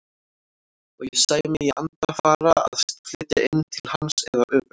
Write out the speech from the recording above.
Og ég sæi mig í anda fara að flytja inn til hans eða öfugt.